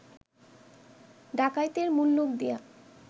ডাকাইতের মুল্লুক দিয়া